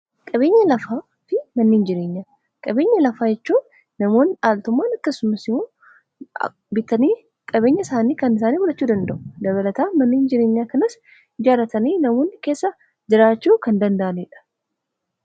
Qabeenya lafaa fi manniin jireenyaa faayidaa madaalamuu hin dandeenye fi bakka bu’iinsa hin qabne qaba. Jireenya guyyaa guyyaa keessatti ta’ee, karoora yeroo dheeraa milkeessuu keessatti gahee olaanaa taphata. Faayidaan isaa kallattii tokko qofaan osoo hin taane, karaalee garaa garaatiin ibsamuu danda'a.